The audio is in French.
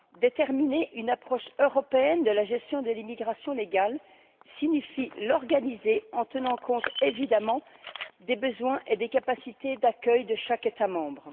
Déterminer une approche européenne de la gestion de l'immigration légale signifie l'organiser en tenant compte évidemment des besoins et des capacités d'accueil de chaque État membre.